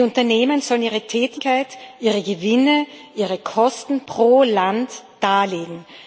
die Unternehmen sollen ihre Tätigkeit, ihre Gewinne, ihre Kosten pro Land darlegen.